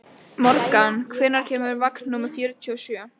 Morgan, hvenær kemur vagn númer fjörutíu og sjö?